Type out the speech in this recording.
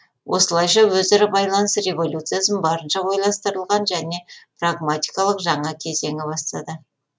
осылайша өзара байланыс революциясын барынша ойластырылған және прагматикалық жаңа кезеңі бастады